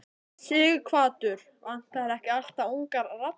Sighvatur: Vantar ekki alltaf ungar raddir?